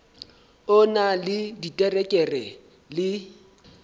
o na le diterekere le